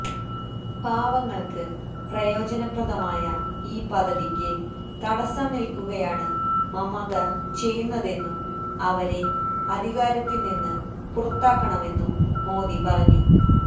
പാവങ്ങള്ക്ക് പ്രയോജനപ്രദമായ ഈ പദ്ധതിയ്ക്ക് തടസ്സംനില്ക്കുകയാണ് മമത ചെയ്യുന്നതെന്നും അവരെ അധികാരത്തില്നിന്ന് പുറത്താക്കണമെന്നും മോദി പറഞ്ഞു